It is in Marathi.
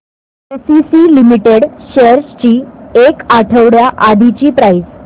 एसीसी लिमिटेड शेअर्स ची एक आठवड्या आधीची प्राइस